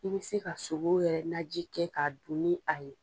I bɛ se ka sogo yɛrɛ naji kɛ ka dun ni a ye.